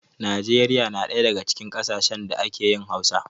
Nijeriya na daya daga cikin ƙasashen da ake yin Hausa.